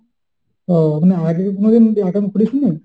ও না আগে কোনদিন account খুলিস নি?